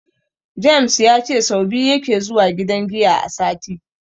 James ya ce sau biyu yake zuwa gidan giya a sati.